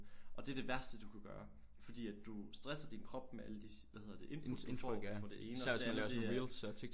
Og det er det værste du kan gøre fordi at du stresser din krop med alle de hvad hedder det input du får fra det ene og det andet det er